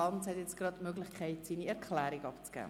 Lanz hat nun die Möglichkeit, seine Erklärung abzugeben.